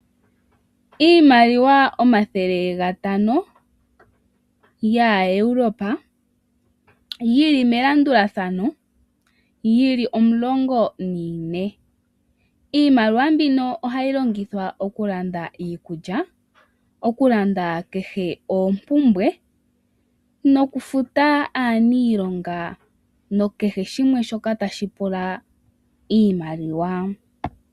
Iimaliwa omathele gatano ga Europa yi li melandulathano, yi li omulongo na ne. Iimaliwa mbino ohayi longithwa okulanda iikulya, okulanda kehe oompumbwe, nokufuta aanilonga no kehe shoka tashi pula iimaliwa.